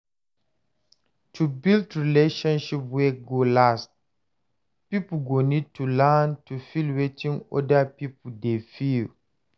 To build relationship wey go last, pipo go need to learn to feel wetin oda pipo dey feel